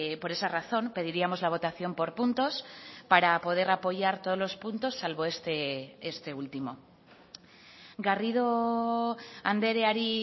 por esa razón pediríamos la votación por puntos para poder apoyar todos los puntos salvo este último garrido andreari